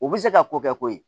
U bɛ se ka ko kɛ ko ye